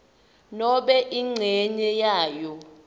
nobe incenye yayo